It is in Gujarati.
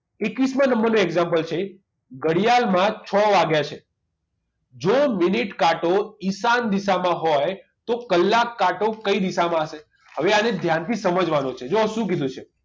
એકવીસ માં નંબર નું example છે ઘડિયાળમાં છ વાગ્યા છે જો મિનિટ કાંટો ઈશાન દિશામાં હોય તો કલાક કાંટો કઈ દિશામાં હશે હવે આને ધ્યાનથી સમજવાનું છે જુઓ શું કીધું છે